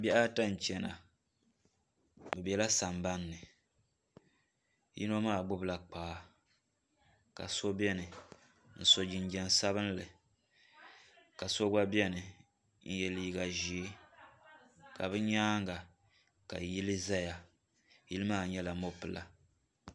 Bihi ata n chena bɛ bela sambanni yino maa gbibila kpaa ka so biɛni n so jinjiɛm sabinli ka so gba biɛni n ye liiga ʒee ka bɛ nyaanga ka yili zaya yili maa nyɛla mopila.